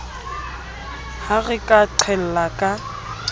ha re ka qhella ka